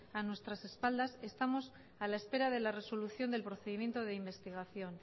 a nuestras espaldas estamos a la espera de la resolución del procedimiento de investigación